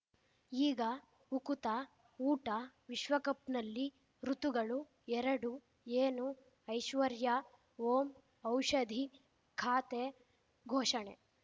ಈಗ ಉಕುತ ಊಟ ವಿಶ್ವಕಪ್‌ನಲ್ಲಿ ಋತುಗಳು ಎರಡು ಏನು ಐಶ್ವರ್ಯಾ ಓಂ ಔಷಧಿ ಖಾತೆ ಘೋಷಣೆ